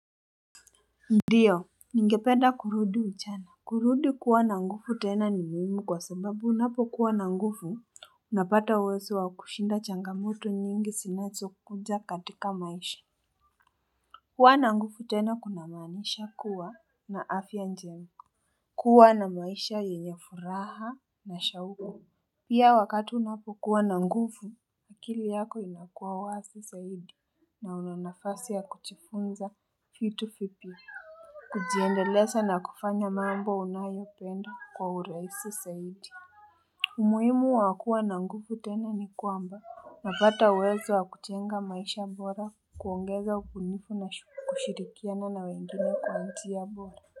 Ndiyo ningependa kurudi ujana. Kurudi kuwa na nguvu tena ni muhimu kwa sababu unapokuwa na nguvu unapata uwezo wa kushinda changamoto nyingi zinazo kuja katika maisha kuwa na nguvu tena kuna maanisha kuwa na afya njema. Kuwa na maisha yenye furaha na shauha pia wakati unapokuwa na nguvu akili yako inakuwa wazi zaidi na una nafasi ya kujifunza vitu vipya kujiendeleza na kufanya mambo unayopenda kwa urahisi zaidi umuhimu wa kuwa na nguvu tena ni kwamba unapata uwezo wa kujenga maisha bora kuongeza ubunifu na kushirikiana na wengine kwa njia bora.